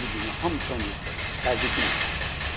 Bir-birinə hamı can deyib, can eşitdi, həqiqi mənadadır.